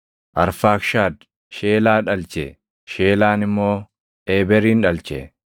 Arfaakshad Sheelaa dhalche; Sheelaan immoo Eeberin dhalche.